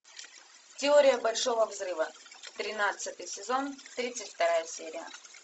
теория большого взрыва тринадцатый сезон тридцать вторая серия